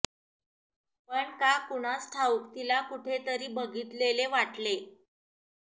पण का कुणास ठावुक तीला कुठे तरी बघितलेले वाटले